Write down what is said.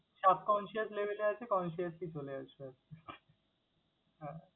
Subconscious level আছে consciously চলে আসবে আসতে হ্যাঁ।